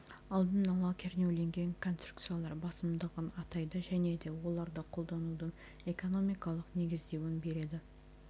алдын ала кернеуленген конструкциялар басымдығын атайды және де оларды қолданудың экономикалық негіздеуін береді